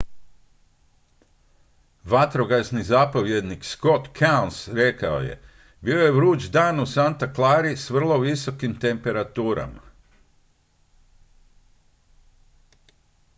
vatrogasni zapovjednik scott kouns rekao je bio je vruć dan u santa clari s vrlo visokim temperaturama